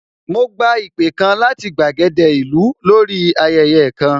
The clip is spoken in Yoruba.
Mo gba ìpè kan láti gbàgede ìlú lórí ayẹyẹ kan